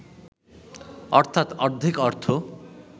অর্থাৎ অর্ধেক অর্থ